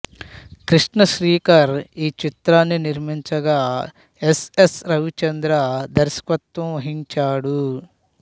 కృష్ణ శ్రీకర్ ఈ చిత్రాన్ని నిర్మించగా ఎస్ ఎస్ రవిచంద్ర దర్శకత్వం వహించాడు